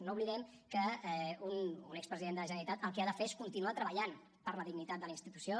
no oblidem que un expresident de la generalitat el que ha de fer és continuar treballant per la dignitat de la institució